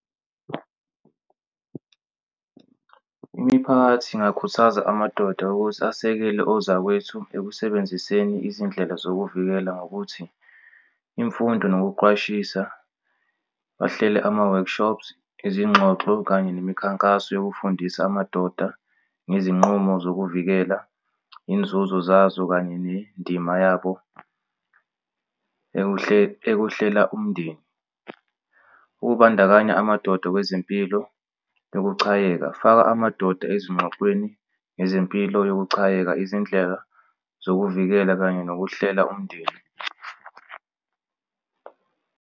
Imiphakathi ingakhuthaza amadoda ukuthi asekele ozakwethu ekusebenziseni izindlela zokuvikela ngokuthi imfundo nokuqwashisa, bahlele ama-workshops, izingxoxo kanye nemikhankaso yokufundisa amadoda ngezinqumo zokuvikela, inzuzo zazo, kanye nendima yabo ekuhlela umndeni. Ukubandakanya amadoda kwezempilo, ukuchayeka faka amadoda ezinxoxweni nezempilo yokuchayeka izindlela zokuvikela kanye nokuhlela umndeni.